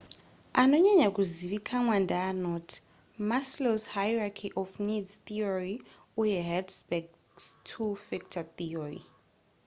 anonyanya kuzivikanwa ndeanoti maslow's hierachy of needs theory uye hertzberg's two factor theory